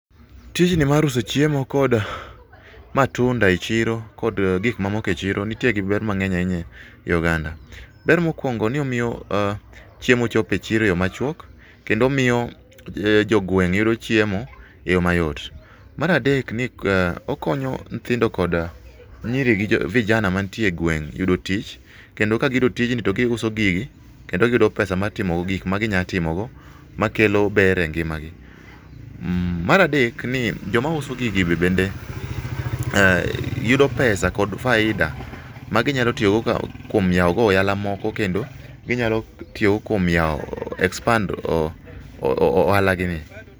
Tijni mar uso chiemo kod matunda e chiro kod gik mamoko e chiro nitie ber mang'eny ahinya e oganda. Ber mokuongo ni omiyo chiemo chopo e chiro e yo machuok kendo omiyo jogweng yudo chiemo e yoo mayot. Mar adek ni okonyo nyithindo kod nyiri gi vijana mantie e gweng yudo tich kendo ka giyudo tijni to giuso gigi kendo giyudo pesa mar timo go gik maginya timogo makelo ber e ngimagi. Mar adek ni joma uso gigi bende ,eeh, yudo pesa kod faida maginyalo tiyogo kuom yao go ohala moko kendo ginyalo tiyo go kuom yao, expand ohala gi ni